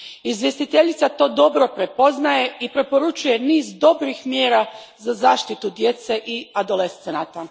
Izvjestiteljica to dobro prepoznaje i preporučuje niz dobrih mjera za zaštitu djece i adolescenata.